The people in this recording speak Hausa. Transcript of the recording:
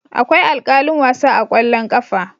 Akwai alkalin wasa a kwallon kafa.